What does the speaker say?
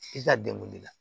I ka degun de la